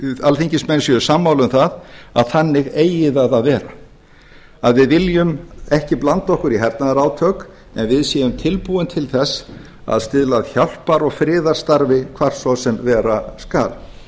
alþingismenn séu sammála um það að þannig eigi það að vera að við viljum ekki blanda okkur í hernaðarátök en við séum tilbúin til þess að stuðla að hjálpar og friðarstarfi hvar svo sem vera skal